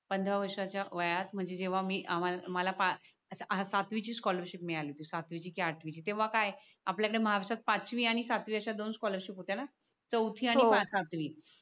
पंधरा वर्षाच्या वयात म्हणजे जेव्हा मी आम्हाला सातवीची स्कॉलरशिप मिळाली सातवीची कि आठवीची तेव्हा काय आपल्याकडे महाराष्ट्रात पाचवी आणि सातवीच्या दोन स्कॉलरशिप होत्या न चौथी आणि सातवी